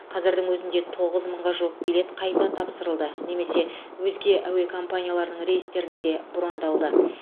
қазірдің өзінде тоғыз мыңға жуық билет қайта тапсырылды немесе өзге әуе компанияларының рейстеріне де брондалды